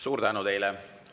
Suur tänu teile!